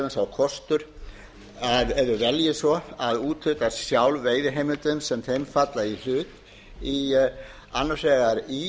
kostur ef þau velji svo að úthluta sjálf veiðiheimildum sem þeim falla í hlut annars vegar í